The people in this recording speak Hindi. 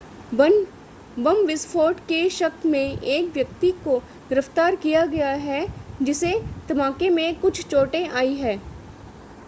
बम विस्फोट के शक में एक व्यक्ति को गिरफ्तार किया गया है जिसे धमाके में कुछ चोटें आई हैं